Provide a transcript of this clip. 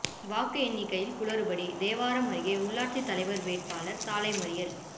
வாக்கு எண்ணிக்கையில் குளறுபடி தேவாரம் அருகே ஊராட்சித் தலைவா் வேட்பாளா் சாலை மறியல்